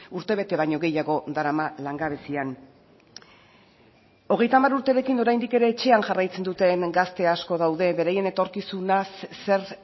urtebete baino gehiago darama langabezian hogeita hamar urterekin oraindik ere etxean jarraitzen duten gazte asko daude beraien etorkizunaz zer